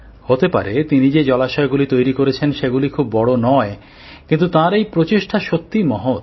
হতে পারে তিনি যে জলাশয়গুলি তৈরি করেছেন সেগুলি খুব বড় নয় কিন্তু তাঁর এই প্রচেষ্টা সত্যিই মহৎ